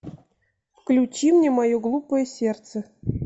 включи мне мое глупое сердце